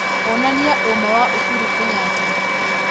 onania ũũma wa uhutu kenyatta